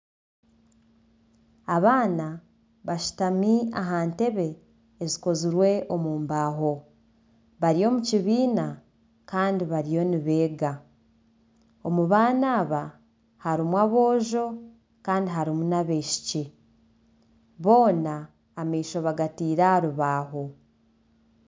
Abaana bashutami aha ntebe zikozirwe omu mbaho. Bari omu kibiina Kandi bariyo nibeega. Omu baana aba, harimu abojo Kandi harimu nana abishiki. Boona amaisho bagatiire aha rubaaho.